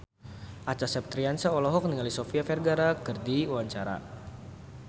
Acha Septriasa olohok ningali Sofia Vergara keur diwawancara